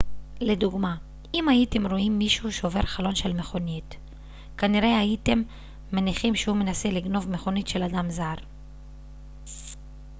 לדוגמה אם הייתם רואים מישהו שובר חלון של מכוניות כנראה הייתם מניחים שהוא מנסה לגנוב מכונית של אדם זר